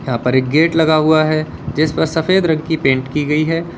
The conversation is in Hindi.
यहाँ पर एक गेट लगा हुआ है जिस पर सफेद रंग की पेंट की गई है।